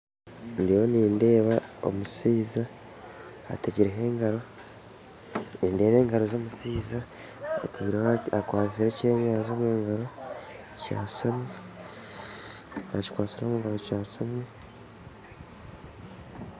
Ndiyo nindeeba omushaija ategireho engaro nindeeba engaro z'omushaija akwise eky'enyanja omungaro kyeshami akikwatsire omungaro kyeshami